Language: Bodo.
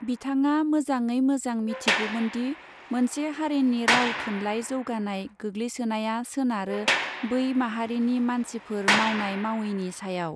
बिथाङा मजांगै मौजौ मिथिगौमोनदि मोनसे हारिनि राव थुनलाई जौगानाय गोग्लैसोनाया सोनारो बै माहारिनि मानसिफोर मावनाय मावयैनि सायाव.